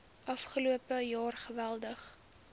afgelope jaar geweldig